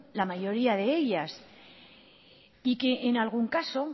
la mayoría de ellas y que en algún caso